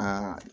Aa